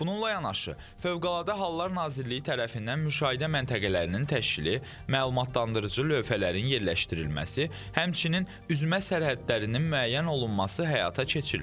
Bununla yanaşı, Fövqəladə Hallar Nazirliyi tərəfindən müşahidə məntəqələrinin təşkili, məlumatlandırıcı lövhələrin yerləşdirilməsi, həmçinin üzmə sərhədlərinin müəyyən olunması həyata keçirilib.